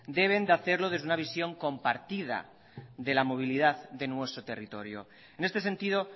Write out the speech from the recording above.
deben de hacerlo desde una visión compartida de la movilidad de nuestro territorio en este sentido